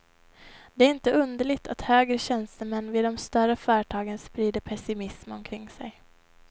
Det är inte underligt att högre tjänstemän vid de större företagen sprider pessimism omkring sig.